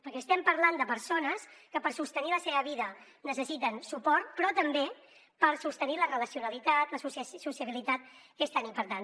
perquè estem parlant de persones que per sostenir la seva vida necessiten suport però també per sostenir la relacionalitat la sociabilitat que és tan important